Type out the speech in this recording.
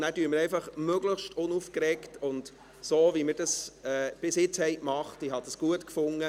Und dann wollen wir das möglichst unaufgeregt und so, wie wir es bis jetzt gemacht haben, durchbringen.